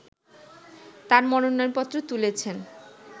তার মনোনয়নপত্র তুলেছেন